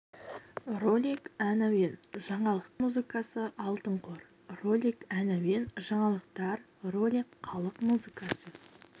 ролик ән әуен жаңалықтар ролик халық музыкасы алтын қор ролик ән әуен жаңалықтар ролик халық музыкасы